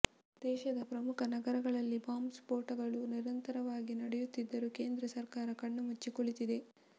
ದೇಶದ ಪ್ರಮುಖ ನಗರಗಳಲ್ಲಿ ಬಾಂಬ್ ಸ್ಫೋಟಗಳು ನಿರಂತರವಾಗಿ ನಡೆಯುತ್ತಿದ್ದರೂ ಕೇಂದ್ರ ಸರ್ಕಾರ ಕಣ್ಣು ಮುಚ್ಚಿ ಕುಳಿತಿದೆ